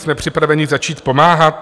Jsme připraveni začít pomáhat?